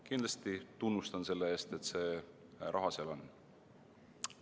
Kindlasti tunnustan selle eest, et see raha seal on.